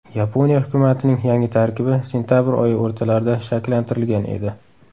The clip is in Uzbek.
Yaponiya hukumatining yangi tarkibi sentabr oyi o‘rtalarida shakllantirilgan edi.